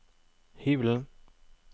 hybelen